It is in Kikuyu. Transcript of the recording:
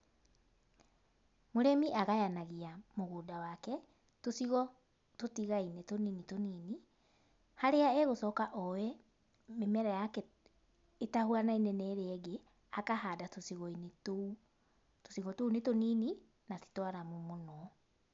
Mũrĩmi agayanagia mũgũnda wake, tũcigo tũtigaine tũnini tũnini, haria egũcoka oe, mĩmera yake, ĩtahuanaine na ĩrĩa ĩngĩ, akahanda tũcigoinĩ tũu, tũcigo tũu nĩ tũnini na titwaramu mũno.